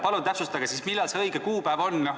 Palun täpsustage, millal see õige kuupäev on.